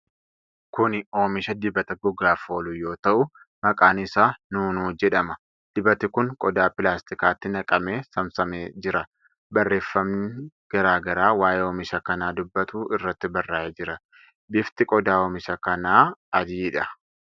Kuni oomisha dibata gogaaf oolu yoo ta'u, maqaan isaa "Nuunuu" jedhama. Dibati kun qodaa pilastikaatti naqamee saamsamee jira. Barreeefami garaa garaa waa'ee oomisha kanaa duubbatu irratti barraa'ee jira. Bifti qodaa oomisha kanaa adiidha.